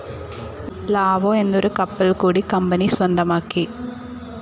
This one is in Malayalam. ലാവോ എന്നൊരു കപ്പൽ കൂടി കമ്പനി സ്വന്തമാക്കി.